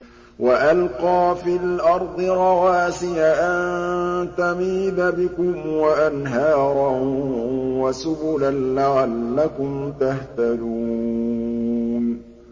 وَأَلْقَىٰ فِي الْأَرْضِ رَوَاسِيَ أَن تَمِيدَ بِكُمْ وَأَنْهَارًا وَسُبُلًا لَّعَلَّكُمْ تَهْتَدُونَ